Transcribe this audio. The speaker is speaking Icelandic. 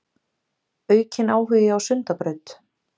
Aukinn áhugi á Sundabraut